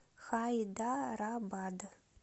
хайдарабад